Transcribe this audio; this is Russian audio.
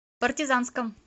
партизанском